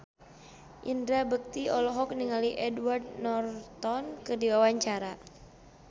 Indra Bekti olohok ningali Edward Norton keur diwawancara